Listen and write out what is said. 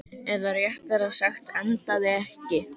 Eða réttara sagt, endaði ekki.